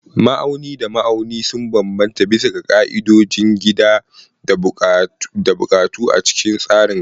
Ma'auni da ma'auni sun bambanta bisa ga ƙa'idodin gida da buƙatu a cikin tsarin gargajiya.